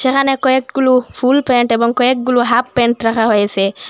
এখানে কয়েকগুলো ফুলপ্যান্ট এবং কয়েকগুলো হাফপ্যান্ট রাখা হয়েছে।